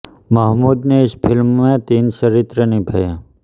महमूद ने इस फिल्म में तीन चरित्र निभाये